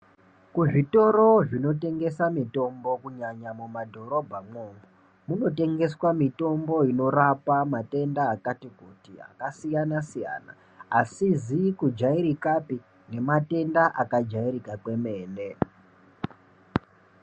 Kuzvitoro zvinotengese mitombo kunyanya mumadhorobhamwo munotengeswa mitombo inorapa matenda akati kuti akasiyana siyana asizi kujairikapi nematenda akajairika kwemene.